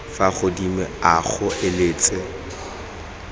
fa godimo a o eletsa